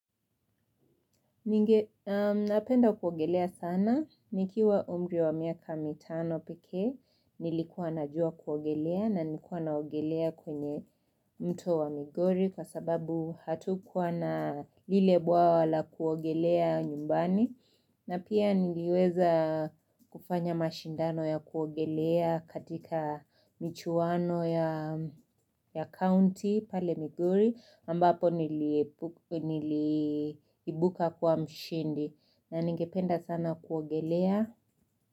Ninge napenda kuogelea sana. Nikiwa umri wa miaka mitano pekee nilikuwa najua kuogelea, na nilikuwa naogelea kwenye mto wa Migori, kwa sababu hatukuwa na ile bwawa la kuogelea nyumbani. Na pia niliweza kufanya mashindano ya kuogelea, katika michuwano ya County pale Migori ambapo niliimbuka kwa mshindi na ningependa sana kuogelea.